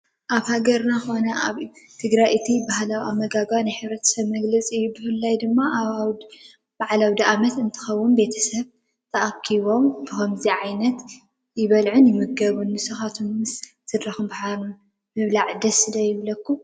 ኣብ ሃገርና ኮነ ኣብ ትግራይ እቲ ባህላዊ ኣመጋግባ ናይ ሕብረት መግለፂና እዩ፡፡ ብፍላይ ድማ ኣብ ባዓል ኣውዳኣመት እንትኸውን ቤተ ሰብ ተኣኪቦም ብከምዚ ዓይነት ይበልዑን ይምገቡን፡፡ ንስኻትኩም ምስ ስድራኹም ብሓባር ምብላዕ ዶ ደስ ይብለኩም?